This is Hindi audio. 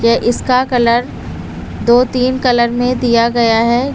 ये इसका कलर दो तीन कलर में दिया गया है।